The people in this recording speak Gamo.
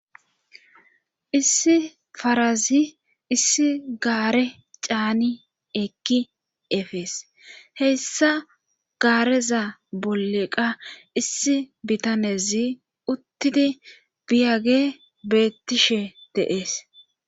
Issi parazi issi gaare caani ekki efees. He issa gaareza bolleqa issi bitanezi uttidi biyage beettishe dees.